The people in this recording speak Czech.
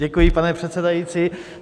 Děkuji, pane předsedající.